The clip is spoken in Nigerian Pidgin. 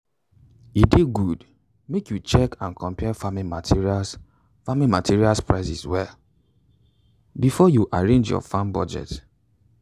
e dey good make you check and compare farming materials farming materials prices well before you arrange your farming budget.